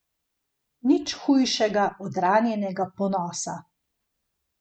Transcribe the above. Nič ni hujšega od ranjenega ponosa.